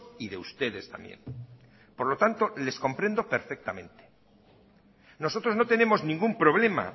y de ustedes también por lo tanto les comprendo perfectamente nosotros no tenemos ningún problema